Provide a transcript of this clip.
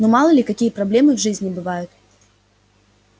ну мало ли какие проблемы в жизни бывают